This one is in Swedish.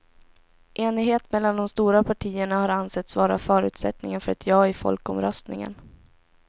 Enighet mellan de stora partierna har ansetts vara förutsättningen för ett ja i folkomröstningen.